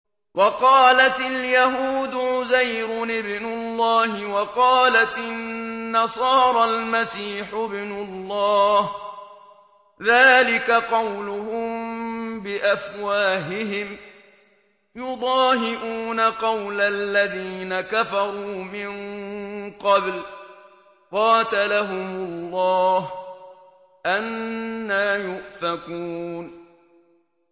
وَقَالَتِ الْيَهُودُ عُزَيْرٌ ابْنُ اللَّهِ وَقَالَتِ النَّصَارَى الْمَسِيحُ ابْنُ اللَّهِ ۖ ذَٰلِكَ قَوْلُهُم بِأَفْوَاهِهِمْ ۖ يُضَاهِئُونَ قَوْلَ الَّذِينَ كَفَرُوا مِن قَبْلُ ۚ قَاتَلَهُمُ اللَّهُ ۚ أَنَّىٰ يُؤْفَكُونَ